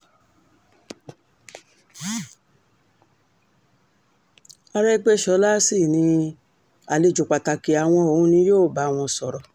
àrẹ́gbẹ́sọ̀la sì ni àlejò pàtàkì àwọn òun ni yóò bá wọn sọ̀rọ̀